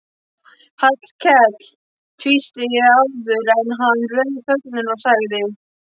Hallkell tvísté áður en hann rauf þögnina og sagði